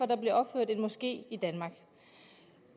der bliver opført en moské i danmark